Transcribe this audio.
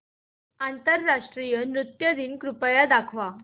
आंतरराष्ट्रीय नृत्य दिन कृपया दाखवच